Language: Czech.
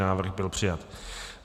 Návrh byl přijat.